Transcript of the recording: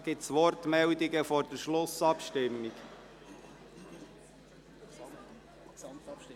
Gibt es vor der Gesamtabstimmung Wortmeldungen?